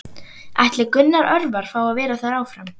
Ætlar Gunnar Örvar að vera þar áfram?